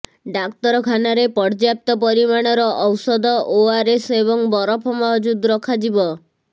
ଡ଼ାକ୍ତରଖାନାରେ ପର୍ଯ୍ୟାପ୍ତ ପରିମାଣର ଔଷଧ ଓଆର୍ଏସ୍ ଏବଂ ବରଫ ମହଜୁଦ ରଖାଯିବ